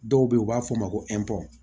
Dɔw be yen u b'a fɔ a ma ko